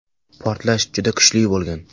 Portlash juda kuchli bo‘lgan.